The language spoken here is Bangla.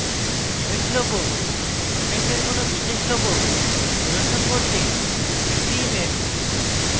event logo event কোনো বিশেষ logo প্রদর্শন করতে একটি image